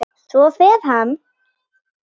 Svo fer hann.